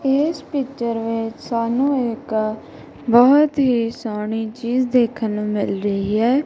ਏਸ ਪਿਚਰ ਵਿੱਚ ਸਾਨੂੰ ਇੱਕ ਬਹੁਤ ਹੀ ਸੋਹਣੀ ਚੀਜ਼ ਦੇਖਣ ਨੂੰ ਮਿਲ ਰਹੀ ਹੈ।